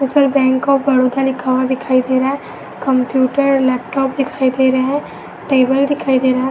उस पर bank of Baroda लिखा हुआ दिखाई दे रहा है। कंप्यूटर लैपटॉप दिखाई दे रहा है। टेबल दिखाई दे रहा है।